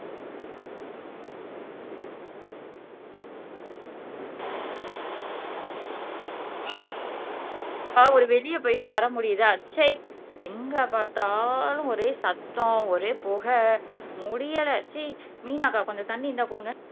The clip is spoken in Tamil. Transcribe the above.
ஆஹ் ஒரு வெளிய போயிட்டு வர முடியுதா ச்சை எங்க பார்த்தாலும் ஒரே சத்தம் ஒரே புகை முடியலை சீ மீனா அக்கா கொஞ்சம் தண்ணி இருந்தா கொடுங்க